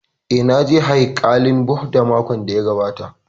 Eh, na je haikalin Bhudha makon da ya gabata